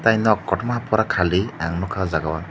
tai nok kotorma pura khali ang nugka ow jaaga o.